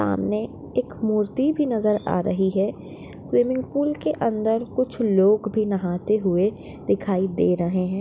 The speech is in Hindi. सामने एक मूर्ति भी नज़र हा रही है स्विमिंग पूल के अंदर कुछ लोग भी नहाते हुए दिखाई दे रहे है।